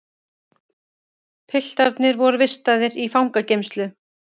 Piltarnir voru vistaðir í fangageymslu